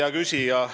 Hea küsija!